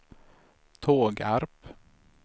Tågarp